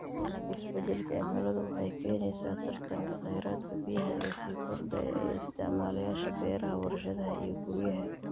Isbeddelka cimiladu waxay keenaysaa tartanka kheyraadka biyaha ee sii kordhaya ee isticmaalayaasha beeraha, warshadaha iyo guryaha.